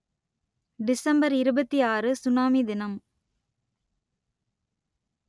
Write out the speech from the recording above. December இருபத்தி ஆறு tsunami தினம்